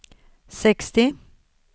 sextio